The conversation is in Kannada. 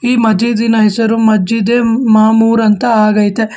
ಈ ಮಜ್ಜಿಜಿನ ಹೆಸರು ಮಜ್ಜಿದೆ ಮಾಮುರ ಅಂತ ಆಗೈತೆ.